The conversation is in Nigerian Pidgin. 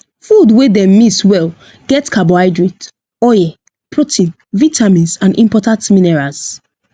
food wey dem mix well get carbohydrate oil protein vitamins and important minerals